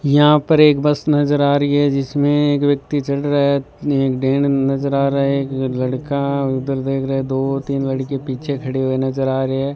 यहां पर एक बस नजर आ रही है जिसमें एक व्यक्ति चढ़ रहा है नजर आ रहा है एक लड़का उधर देख रहा है दो तीन लड़के पीछे खड़े हुए नजर आ रहे हैं।